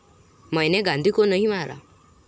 मैने गांधी को नाही मारा